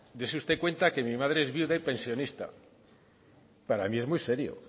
dese usted cuenta que mi madre es viuda y pensionista para mí es muy serio